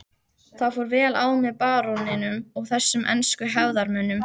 Það fór vel á með baróninum og þessum ensku hefðarmönnum.